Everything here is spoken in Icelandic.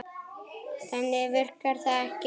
Þannig virkar það ekki.